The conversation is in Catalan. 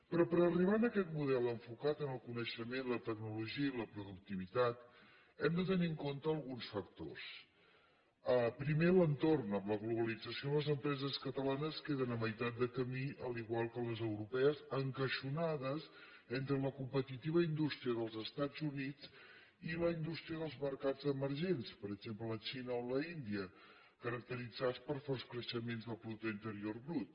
però per arribar a aquest model enfocat en el coneixement la tecnologia i la productivitat hem de tenir en compte alguns factors primer l’entorn amb la globalització les empreses catalanes queden a meitat de camí igual que les europees encaixonades entre la competitiva indústria dels estats units i la indústria dels mercats emergents per exemple la xina o l’índia caracteritzats per forts creixements del producte interior brut